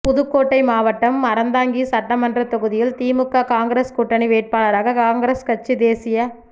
புதுக்கோட்டை மாவட்டம் அறந்தாங்கி சட்டமன்றத் தொகுதியில் திமுக காங்கிரஸ் கூட்டணி வேட்பாளராக காங்கிரஸ் கட்சி தேசிய